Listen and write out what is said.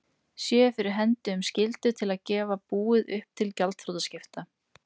séu fyrir hendi um skyldu til að gefa búið upp til gjaldþrotaskipta.